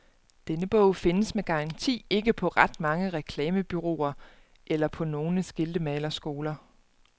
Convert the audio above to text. Den bog findes med garanti ikke på ret mange reklamebureauer eller på nogle skiltemalerskoler.